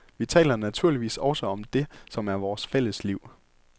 Vi taler naturligvis også om det, som er vores fælles liv.